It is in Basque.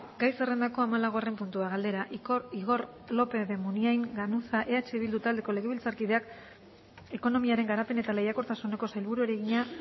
gai zerrendako hamalaugarren puntua galdera igor lópez de munain ganuza eh bildu taldeko legebiltzarkideak ekonomiaren garapen eta lehiakortasuneko sailburuari egina